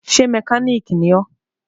Ṣé mẹkáníìkì ni ọ́?